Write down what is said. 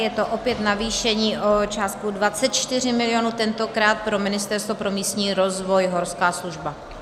Je to opět navýšení o částku 24 mil., tentokrát pro Ministerstvo pro místní rozvoj, Horská služba.